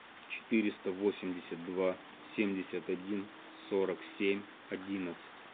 четыреста восемьдесят два семьдесят один сорок семь одиннадцать